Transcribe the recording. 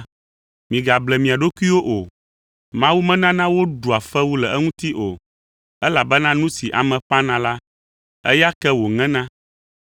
Migable mia ɖokuiwo o. Mawu menana woɖua fewu le eŋuti o. Elabena nu si ame ƒãna la, eya ke wòŋena.